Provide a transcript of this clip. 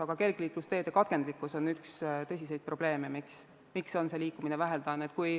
Aga kergliiklusteede katkendlikkus on üks tõsiseid probleeme, miks on see liikumine vähene.